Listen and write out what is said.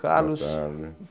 Carlos. Boa tarde.